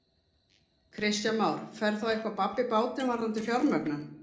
Kristján Már: Fer þá eitthvað babb í bátinn varðandi fjármögnun?